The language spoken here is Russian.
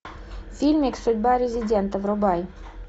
фильмик судьба резидента врубай